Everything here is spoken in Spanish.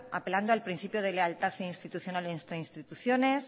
apelando al principio de lealtad institucional entre instituciones